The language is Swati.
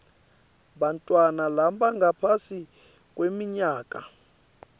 bantfwana labangaphasi kweminyaka